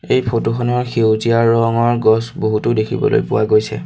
এই ফটো খনত সেউজীয়া ৰঙৰ গছ বহুতো দেখিবলৈ পোৱা গৈছে।